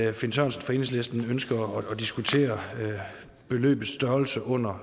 at finn sørensen fra enhedslisten ønsker at diskutere beløbets størrelse under